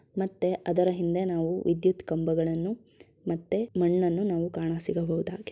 ಮತ್ತೆ ಅದರ ಹಿಂದೆ ನಾವು ವಿದ್ಯುತ್ ಕಂಬಗಳನ್ನೂ ಮತ್ತೆ ಮಣ್ಣನ್ನು ನಾವು ಕಾಣಸಿಗಬಹುದಾಗಿದೆ.